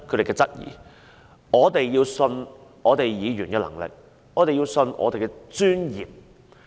因此，我們必須相信議員的能力，相信我們的專業。